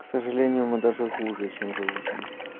к сожалению мы даже хуже чем животные